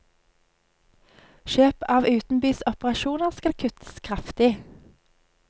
Kjøp av utenbys operasjoner skal kuttes kraftig.